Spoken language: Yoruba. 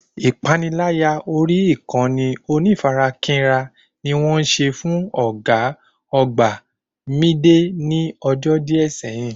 Ìpaniláyà orí ìkànnì onífarakínra ni wọ́n ṣe fún ọ̀gá àgbà Mìídé ní ọjọ́ díẹ̀ sẹ́yín